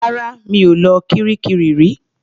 Rárá. Mi ò lọ kiríkirì rí.